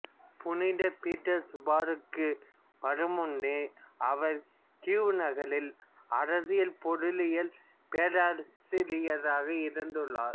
புனித பீட்டர்சுபர்குக்கு வரும் முன்பு அவர்கீவ் நகரில் அரசியல் பொருளியல் பேராசிரியராக இருந்துள்ளார்